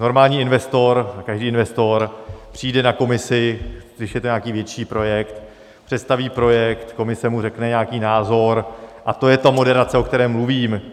Normální investor, každý investor přijde na komisi, když je to nějaký větší projekt, představí projekt, komise mu řekne nějaký názor, a to je ta moderace, o které mluvím.